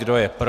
Kdo je pro?